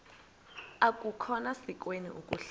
akukhona sikweni ukuhlala